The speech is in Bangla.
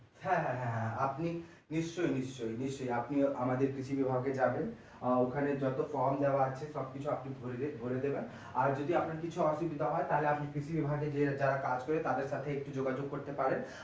হ্যাঁ হ্যাঁ হ্যাঁ হ্যাঁ আপনি নিশ্চয় নিশ্চয় নিশ্চয় আপনি আমাদের কৃষি বিভাগে যাবেন আহ ওখানে যত form দেওয়া আছে সব কিছু আপনি ভরে দেবেন আর যদি আপনার কিছু অসুবিধা হয় তাহলে আপনি কৃষি বিভাগে গিয়ে যারা কাজ করে তাদের সাথে একটু যোগাযোগ করতে পারেন